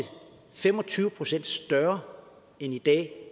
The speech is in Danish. fem og tyve procent større end i dag